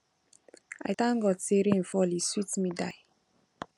i thank god say rain fall e sweet me die